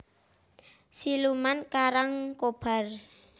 Siluman Karangkobar